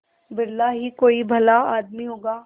बिरला ही कोई भला आदमी होगा